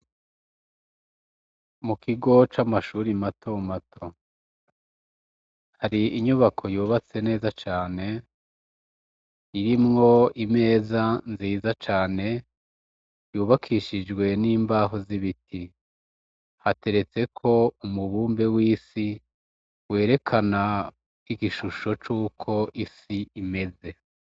Mu kigo c' amashuri matomato hari inyubako yubatse neza cane irimwo imeza nziza cane yubakishijwe n'imbaho z'ibiti hateretseko umubumbe w'isiwe erekana igishusho c'uko isi imeze.